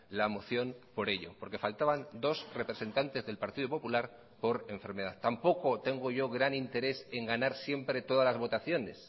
la moción por ello porque faltaban dos representantes del partido popular por enfermedad tampoco tengo yo gran interés en ganar siempre todas las votaciones